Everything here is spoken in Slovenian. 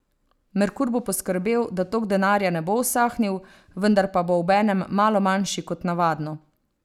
Merkur bo poskrbel, da tok denarja ne bo usahnil, vendar pa bo obenem malo manjši kot navadno.